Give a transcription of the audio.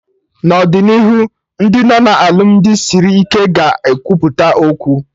N'ọdịnihu Ndị nọ na alụmdi sịrị ike ga ekwupụta okwu